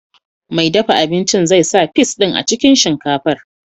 Mai dafa abincin zai sa fis din a cikin shinkafar.